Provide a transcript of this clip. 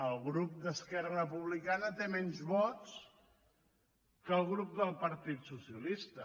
el grup d’esquerra republicana té menys vots que el grup del partit socialista